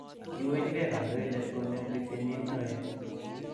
kiwechigei kandoindetab konetik kenyit noe